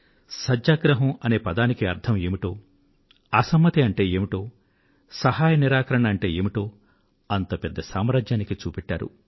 సత్యాగ్రహం అనే పదానికి అర్థం ఏమిటో అసమ్మతి అంటే ఏమిటో సహాయ నిరాకరణ అంటే ఏమిటో అంత పెద్ద సామ్రాజ్యానికి చూపెట్టారు